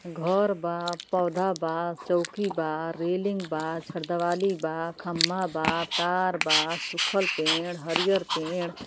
घर बा पौधा बा चोंकी बा रेलिंग बा छरदीवाली बा खम्बा बा तार बा सुखल पेड़ हरियर पेड़ --